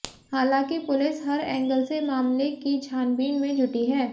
हालांकि पुलिस हर एंगल से मामले की छानबीन में जुटी है